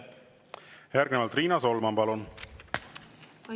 Järgnevalt Riina Solman, palun!